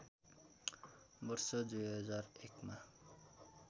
वर्ष २००१ मा